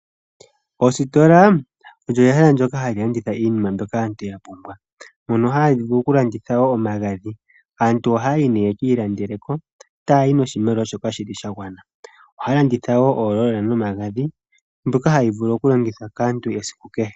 Oositola olyo ehala ndyoka hali landitha iinima mbyoka yapumbwa , mono hali vulu oku landitha wo omagadhi. Aantu ohaya yi ye kiilandele, taya yi ye kiilandele shoka yahala. Ohaya ilandele omagadhi mbyoka hayi vulu oku longithwa kaantu esiku kehe.